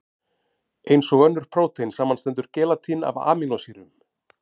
Eins og önnur prótein, samanstendur gelatín af amínósýrum.